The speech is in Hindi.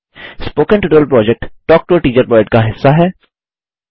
spoken tutorial project talk to a teacher project का हिस्सा है